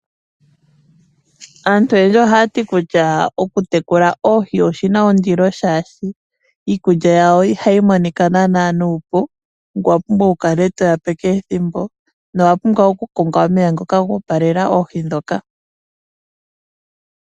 Aantu oyendji ohaya ti kutya okutekula oohi oshi na ondilo oshoka iikulya yadho ihayi monika nuupu, ngoye owa pumbwa okukala to dhi pe okulya ethimbo kehe, ngoye owa pumbwa ishewe okukonga omeya tage dhi opalele.